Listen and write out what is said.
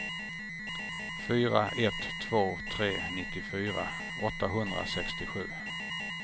fyra ett två tre nittiofyra åttahundrasextiosju